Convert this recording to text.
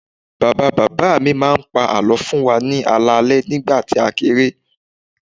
Bàbá bàbá mi máa ń pa àlọ́ fún wa ní alẹ́ alẹ́ nígbà tí a kéré